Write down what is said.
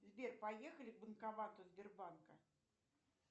сбер поехали к банкомату сбербанка